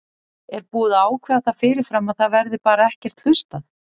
Er búið að ákveða það fyrirfram að það verði bara ekkert hlustað?